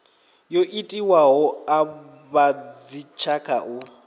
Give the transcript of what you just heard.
yo itiwaho a vhadzitshaka u